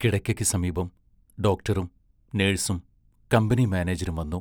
കിടക്കയ്ക്ക് സമീപം ഡോക്ടറും നേഴ്സും കമ്പനി മാനേജരും വന്നു.